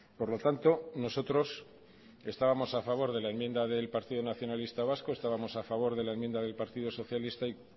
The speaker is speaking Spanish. por lo tanto nosotros estábamos a favor de la enmienda del partido nacionalista vasco estábamos a favor de la enmienda del partido socialista y